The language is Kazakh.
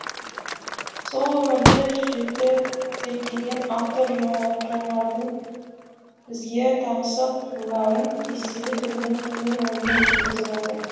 сол өмірді жіті зерттеген автор жануардың бізге таңсық қырларын кестелі тілмен кемел оймен жеткізіп отыр